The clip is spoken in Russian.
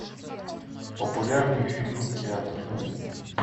популярные фильмы театр